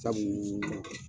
Sabuu